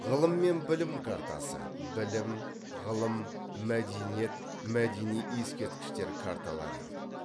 ғылым мен білім картасы білім ғылым мәдениет мәдени ескерткіштер карталары